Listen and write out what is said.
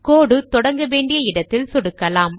கோடு தொடங்க வேண்டிய இடத்தில் சொடுக்கலாம்